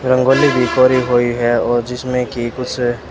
रंगोली भी परी हुई है और जिसमें की कुछ--